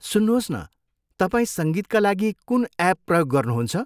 सुन्नुहोस् न, तपाईँ सङ्गीतका लागि कुन एप प्रयोग गर्नुहुन्छ?